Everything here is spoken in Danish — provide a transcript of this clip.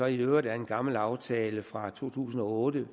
i øvrigt er en gammel aftale fra to tusind og otte